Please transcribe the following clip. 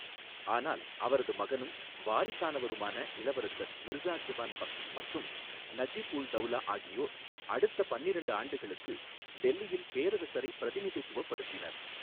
ஆனால் அவரது மகனும் வாரிசானவருமான இளவரசர் மிர்சா ஜவான் பக்த் மற்றும் நஜிப் உல் தௌலா ஆகியோர் அடுத்த பன்னிரெண்டு ஆண்டுகளுக்கு டெல்லியில் பேரரசரைப் பிரதிநிதித்துவப்படுத்தினர்.